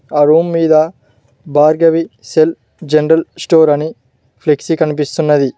ఆ రూమ్ మీద Bhargavi cell general store అని ఫ్లెక్సీ కనిపిస్తున్నది.